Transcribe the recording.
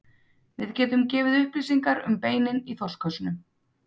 Við getum gefið upplýsingar um beinin í þorskhausnum.